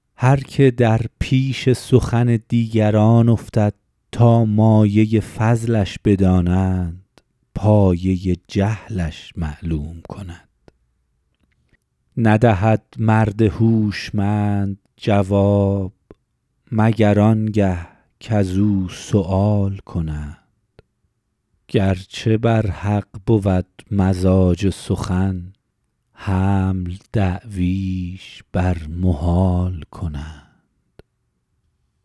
هر که در پیش سخن دیگران افتد تا مایه فضلش بدانند پایه جهلش معلوم کند ندهد مرد هوشمند جواب مگر آن گه کز او سؤال کنند گرچه بر حق بود مزاج سخن حمل دعویش بر محال کنند